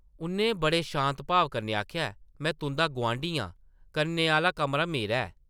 उʼन्नै बड़े शांत भाव कन्नै आखेआ, ‘‘में तुंʼदा गोआंढी आं, कन्नै आह्ला कमरा मेरा ऐ ।’’